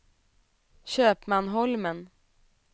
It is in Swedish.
Köpmanholmen